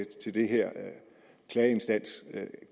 til den her klageinstans